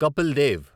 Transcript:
Kapil Dev